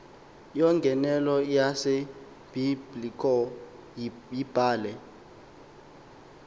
yongenelo yasebiblecor yibhale